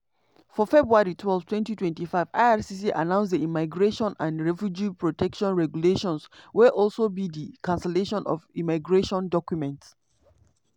for february twelve 2025 ircc announce di immigration and refugee protection regulations wey also be di cancellation of immigration documents.